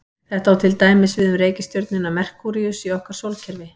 Þetta á til dæmis við um reikistjörnuna Merkúríus í okkar sólkerfi.